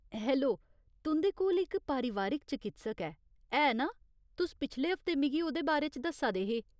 Hello, तुं'दे कोल इक परोआरक चकित्सक ऐ, है ना ? तुस पिछले हफ्तै मिगी ओह्‌दे बारे च दस्सा दे हे।